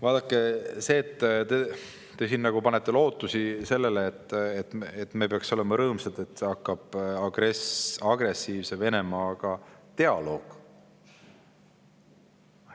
Vaadake, te panete lootusi sellele, et me peaksime olema rõõmsad, kui hakkab agressiivse Venemaaga dialoog.